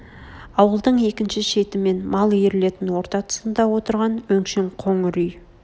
ауылдың екінші шет мен мал ирлетін орта тұсында отырған өңшең қоңыр үй